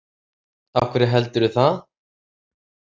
Af hverju heldurðu það?